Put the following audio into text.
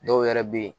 Dɔw yɛrɛ bɛ yen